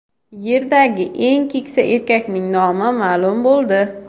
Yerdagi eng keksa erkakning nomi ma’lum bo‘ldi.